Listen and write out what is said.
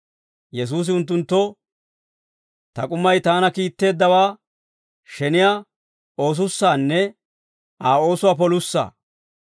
Yesuusi unttunttoo, «Ta k'umay taana kiitteeddawaa sheniyaa oosussaanne Aa oosuwaa polussaa.